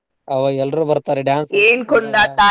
ಅವಾಗ್ ಎಲ್ರೂ ಬರ್ತಾರೀ dance .